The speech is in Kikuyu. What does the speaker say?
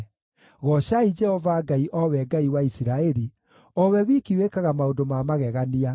Goocai Jehova Ngai, o we Ngai wa Isiraeli, o we wiki wĩkaga maũndũ ma magegania.